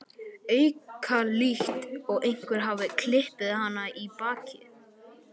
auka, líkt og einhver hafi klipið hana í bakið.